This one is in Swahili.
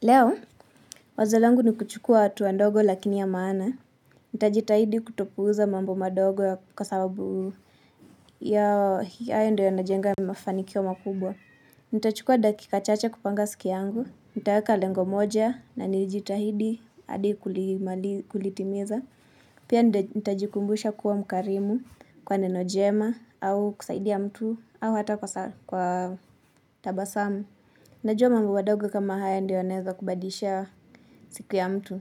Leo, wazo langu ni kuchukua hatua ndogo lakini ya maana. Nitajitahidi kutopuuza mambo madogo kwa sababu hayo ndio yanajenga mafanikio makubwa. Nitachukua dakika chache kupanga siki yangu nitaeka lengo moja na nijitahidi hadi kulitimiza. Pia nitajikumbusha kuwa mkarimu, kwa neno jema au kusaidia mtu au hata kwa tabasamu. Najua mambu madogo kama haya ndiyo yanaeza kubadisha siku ya mtu